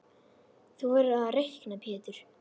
Þú verður að reikna Pétur.